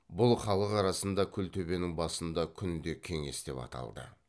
бұл халық арасында күлтөбенің басында күнде кеңес деп аталды